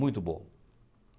Muito bom.